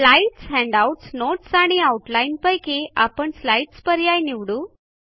slides handouts notes आणि outline पैकी आपण स्लाईड्स पर्याय निवडू